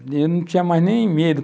Eu não tinha mais nem medo.